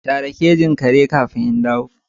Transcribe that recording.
Share kejin kare kafin in dawo.